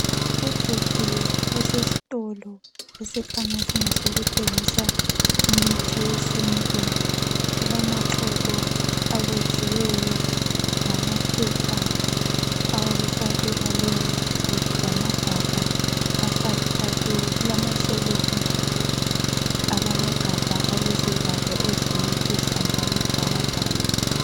Ubhudi osesitolo esikhanya singesoku thengisa imithi yesintu, ulamaxolo abotshiweyo lamaphepha awokufakela leyo mithi, lamagabha afakela kuyo, kulamashelufu alama gabha alezivalo eziluhlaza okwesibhakabhaka.